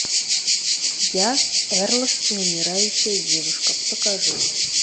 я эрл и умирающая девушка покажи мне